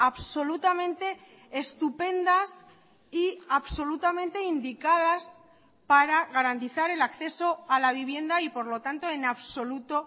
absolutamente estupendas y absolutamente indicadas para garantizar el acceso a la vivienda y por lo tanto en absoluto